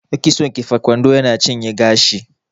Kitson kifa kwando yana cinye gashi